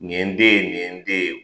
Nin ye den ye, nin ye den ye.